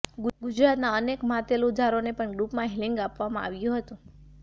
ગુજરાતના અનેક માતેલુજારોને પણ ગ્રુપ હિલીંગ આપવામાં આવ્યું હતું